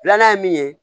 Filanan ye min ye